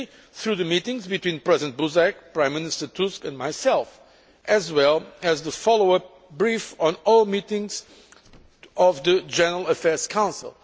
through the meetings between President Buzek, Prime Minister Tusk and myself, as well as the follow up briefings on all meetings of the General Affairs Council.